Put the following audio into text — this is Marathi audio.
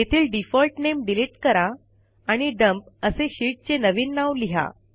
तेथील डिफॉल्ट नेम डिलिट करा आणि डम्प असे शीटचे नवीन नाव लिहा